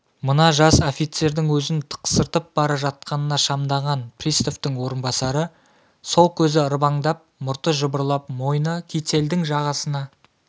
мына жас офицердің өзін тықсыртып бара жатқанына шамданған приставтың орынбасары сол көзі ырбыңдап мұрты жыбырлап мойны кительдің жағасына